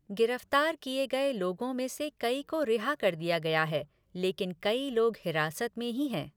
गिरफ्तार किए गए लोगों में से कई को रिहा कर दिया गया है, लेकिन कई लोग हिरासत में ही हैं।